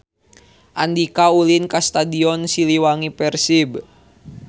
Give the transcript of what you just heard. Andika ulin ka Stadion Siliwangi Persib